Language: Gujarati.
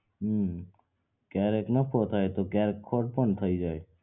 હમ્મ કયારેક નફો થાય તો ક્યારેક ખોટ પણ થઇ જાય